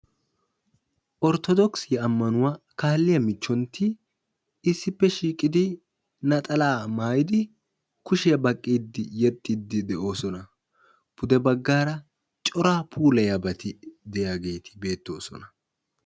orttodookkisiya ammanuwa kaalliya michchontti issippe shiiqidi naxalaa maayidi bagaara corea pulayiyaabati de'iyaageeti beetoosona.